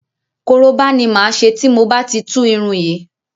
Koroba ni máa ṣe tí mo bá ti tú irun yìí.